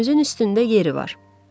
Gözümüzün üstündə yeri var.